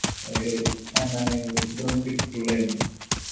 ഒര് എന്താണ് ഇതൊന്നും കിട്ടൂല അയിന്